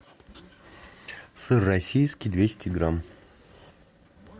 сыр российский двести грамм